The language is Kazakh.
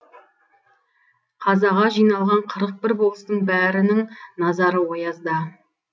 қазаға жиналған қырық бір болыстың бәрінін назары оязда